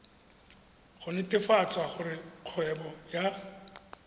go netefatsa gore kgwebo ya